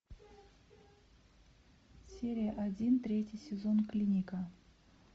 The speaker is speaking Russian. серия один третий сезон клиника